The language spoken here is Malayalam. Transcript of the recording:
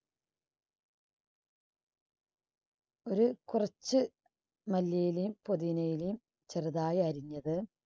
ഒരു കുറച്ച് മല്ലിയിലയും പൊതിന ഇലയും ചെറുതായി അരിഞ്ഞത്